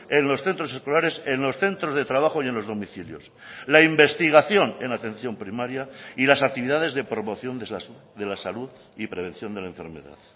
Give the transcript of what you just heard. en los centros escolares en los centros de trabajo y en los domicilios la investigación en atención primaria y las actividades de promoción de la salud y prevención de la enfermedad